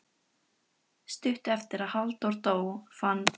Stuttu eftir að Haraldur dó fann